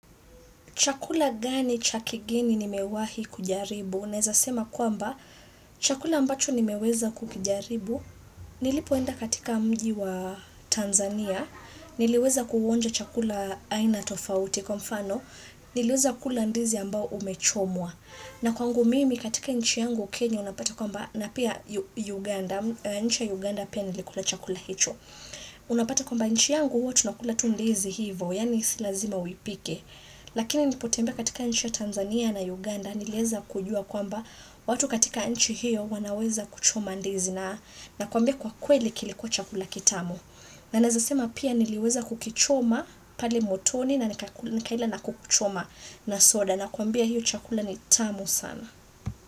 Chakula gani cha kigeni nimewahi kujaribu? Naeza sema kwamba, chakula ambacho nimeweza kukijaribu. Nilipoenda katika mji wa Tanzania, niliweza kuonja chakula aina tofauti kwa mfano, niliweza kula ndizi ambao umechomwa. Na kwangu mimi katika nchi yangu Kenya unapata kwamba, na pia Uganda, nchi ya Uganda pia nilikula chakula hIcho. Unapata kwamba nchi yangu huo tunakula tu ndizi hivo, yani si lazima uipike. Lakini nilipotembea katika nchi ya Tanzania na Uganda niliweza kujua kwamba watu katika nchi hiyo wanaweza kuchoma ndizi na nakwambia kwa kweli kilikuwa chakula kitamu na naweza sema pia nileweza kukichoma pale motoni na nikaila na kuku choma na soda nakwabia hiyo chakula ni tamu sana.